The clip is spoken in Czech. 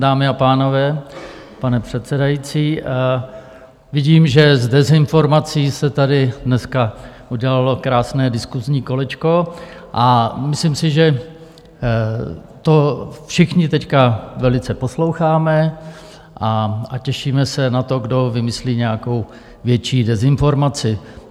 Dámy a pánové, pane předsedající, vidím, že z dezinformací se tady dneska udělalo krásné diskusní kolečko, a myslím si, že to všichni teď velice posloucháme a těšíme se na to, kdo vymyslí nějakou větší dezinformaci.